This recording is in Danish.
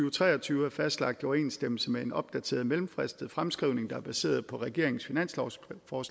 og tre og tyve er fastlagt i overensstemmelse med en opdateret mellemfristet fremskrivning der er baseret på regeringens finanslovsforslag for